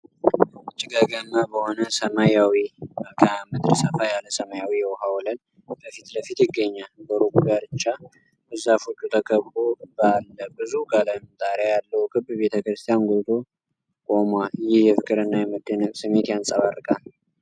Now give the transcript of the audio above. ጭጋጋማ በሆነ ሰማያዊ መልክዓ ምድር፣ ሰፋ ያለ ሰማያዊ የውሃ ወለል በፊት ለፊት ይገኛል። በሩቁ ዳርቻ፣ በዛፎች ተከቦ ባለ ብዙ ቀለም ጣሪያ ያለው ክብ ቤተ ክርስቲያን ጎልቶ ቆሟል። ይህ የፍቅርና የመደነቅ ስሜት ያንጸባርቃል።